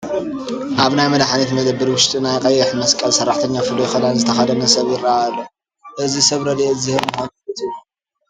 ኣብ ናይ መድሓኒት መደብር ውሽጢ ናይ ቀይሕ መስቀል ሰራሕተኛ ፍሉይ ክዳን ዝተኸደነ ሰብ ይርአ ኣሎ፡፡ እዚ ሰብ ረድኤት ዝህብ ምዃኑ ፍሉጥ እዩ፡፡